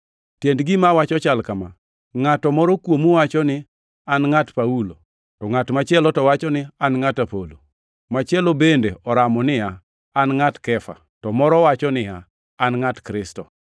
Tiend gima awacho chal kama: Ngʼat moro kuomu wacho niya, “An ngʼat Paulo,” to ngʼat machielo to wacho niya, “An ngʼat Apolo,” machielo bende oramo niya, “An ngʼat Kefa,” to moro wacho niya, “An ngʼat Kristo.”